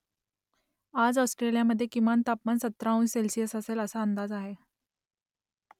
आज ऑस्ट्रियामधे किमान तापमान सतरा अंश सेल्सिअस असेल असा अंदाज आहे